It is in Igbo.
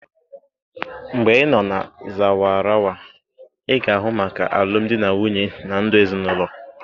Mgbe ịnọ na Zawarawa ị ga-ahụ maka alụmdi na nwunye na ndụ ezinụlọ.